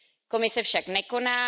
Komise však nekoná.